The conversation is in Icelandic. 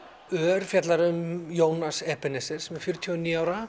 ör fjallar um Jónas sem er fjörutíu og níu ára